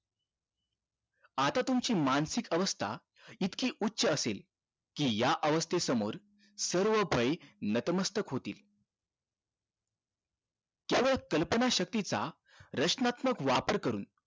आता तुमची मानसिक अवस्था इतकी उच्च असेल कि या अवस्थे समोर सर्व भय नतमस्तक होतील त्यावर कल्पना शक्ती चा प्रश्नात्मक वापर करून